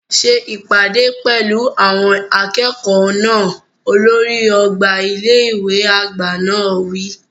Ṣe ìpàdé pẹ̀lú àwọn akẹ́kọ̀ọ́ náà! Olórí ọgbà ilé ìwé àgbà náà wí.